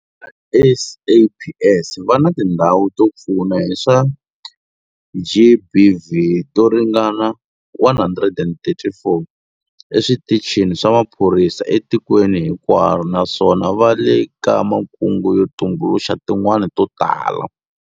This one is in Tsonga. Va SAPS va na tindhawu to pfuna hi swa GBV to ringana 134 eswitichini swa maphorisa etikweni hinkwaro naswona va le ka makungu yo tumbuluxa tin'wana to tala.